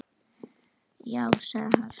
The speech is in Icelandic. Já, sagði hann svo.